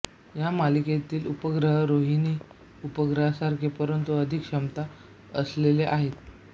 या मालिकेतील उपग्रह रोहिणी उपग्रहासारखे परंतु अधिक क्षमता असलेले आहेत